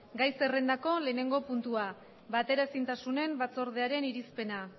gai zerrendako lehenengo puntua bateraezintasunen batzordearen irizpena